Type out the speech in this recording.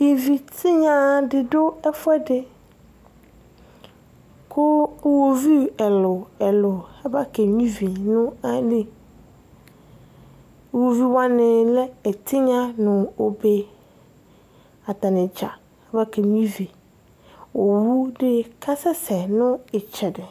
Ivitinya di du ɛfu ɛdi Ku iɣovi ɛlu ɛlu abakenyuia ivi nu ayili Iɣoviwani lɛ ɛtinya nu obe Atani dza abakenyui ivi Owu be ku asɛsɛ